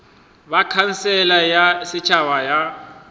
ba khansele ya setšhaba ya